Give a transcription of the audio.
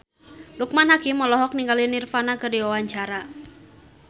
Loekman Hakim olohok ningali Nirvana keur diwawancara